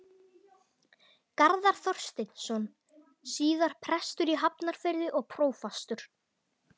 Garðar Þorsteinsson, síðar prestur í Hafnarfirði og prófastur.